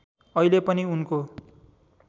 अहिले पनि उनको